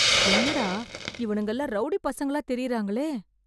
என்னடா, இவனுங்கல்லாம் ரௌடிப் பசங்களா தெரியறாங்களே...